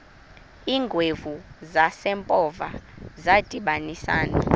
iingwevu zasempoza zadibanisana